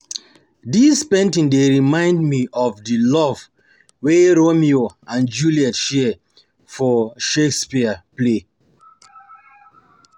Dis painting dey remind me of the love wey Romeo and Juliet share for Shakespeare play